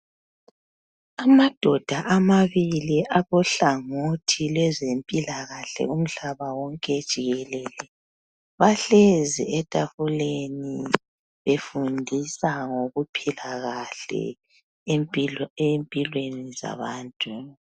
Amadoda amabili akuhlangothi lwezempilakahle umhlaba wonke jikelele bahlezi etafuleni befundisa ngokuphila kahle empilweni zabantu.